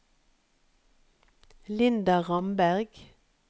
Linda Ramberg